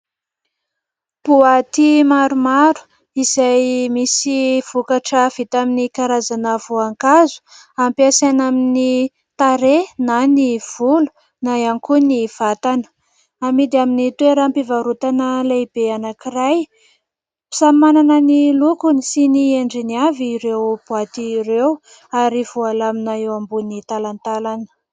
Boaty maromaro izay misy vokatra vita avy amin'ny karazana voankazo ampiasaina amin'ny tarehy na ny volo na ihany koa ny vatana. Amidy amin'ny toeram-pivarotana lehibe anankiray. Samy manana ny lokony sy ny endriny avy ireo boaty ireo ary voalamina eo ambony talantalana.